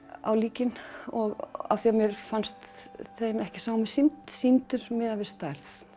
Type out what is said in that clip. á líkin af því mér fannst þeim ekki sómi sýndur sýndur miðað við stærð